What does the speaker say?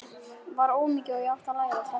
Var ómagi og átti að læra að þegja.